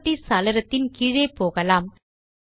properties சாளரத்தின் கீழே போகலாம்